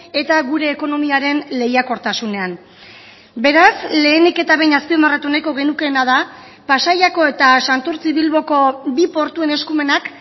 eta gure ekonomiaren lehiakortasunean beraz lehenik eta behin azpimarratu nahiko genukeena da pasaiako eta santurtzi bilboko bi portuen eskumenak